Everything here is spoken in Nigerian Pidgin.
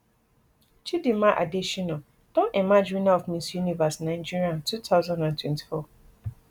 chidimma adetshina don emerge winner of miss universe nigeria two thousand and twenty-four